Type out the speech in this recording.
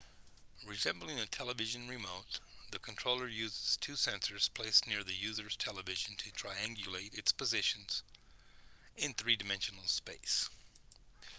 resembling a television remote the controller uses two sensors placed near the user's television to triangulate its position in three-dimensional space